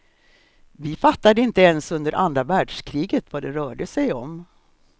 Vi fattade inte ens under andra världskriget vad det rörde sig om.